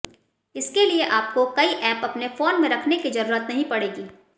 इसके लिए आपको कई एप अपने फोन में रखने की जरूरत नहीं पड़ेगी